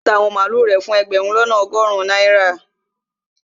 Yóò ta àwọn màlúù rẹ̀ fún ẹgbẹ̀rún lọ́nà ọgọrun náírà